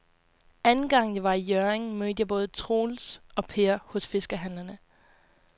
Anden gang jeg var i Hjørring, mødte jeg både Troels og Per hos fiskehandlerne.